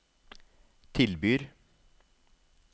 tilbyr